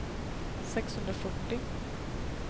sexhundrafyrtio